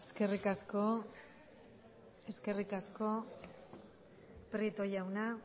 eskerrik asko prieto jauna